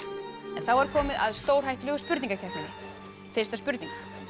þá er komið að stórhættulegu spurningakeppninni fyrsta spurning